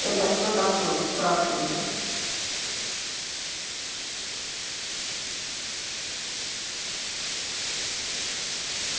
это что такое спрашиваю